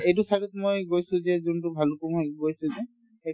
এইটো side ত মই গৈছো যে যোনতো ভালুক পুংত গৈছো যে সেইটো